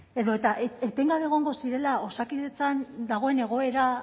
edota etengabe egongo zirela osakidetzan dagoen egoera